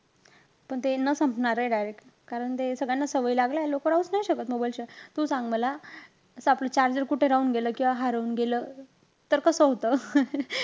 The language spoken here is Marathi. पण ते न संपणारंय direct. कारण ते सगळ्यांना सवयी लागल्याय. लोक राहूचं नाई शकत mobile शिवाय. तू सांग मला असं आपलं charger कुठे राहून गेलं, हरवून गेलं. तर कस होतं?